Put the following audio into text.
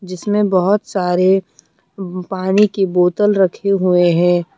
जिसमे बहौत सारे पानी की बोतल रखे हुए है।